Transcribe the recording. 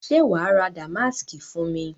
Ṣe wàá ra Damásìkì fún mi?